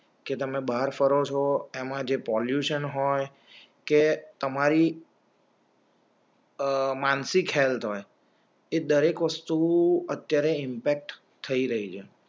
કે તમે બહાર ફરો છો એમાં જે પોલ્યુશન હોય કે તમારી અ માનસિક હેલ્થ હોય એ દરેક વસ્તુ અત્યારે ઇમ્પેક્ટ થઈ રહી છે